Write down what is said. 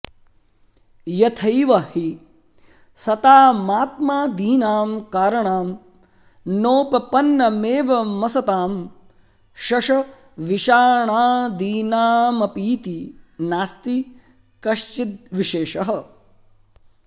यथैव हि सतामात्मादीनां कारणं नोपपन्नमेवमसतां शशविषाणादीनामपीति नास्ति कश्चिद्विशेषः